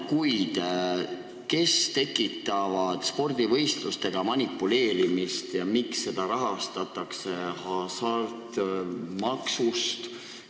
Kuid kes tekitavad spordivõistlustega manipuleerimist ja miks võitlust sellega rahastatakse hasartmängumaksust?